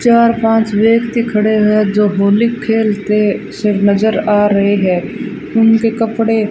चार पांच व्यक्ति खड़े हुए जो होली खेलते सिर्फ नजर आ रहे हैं उनके कपड़े --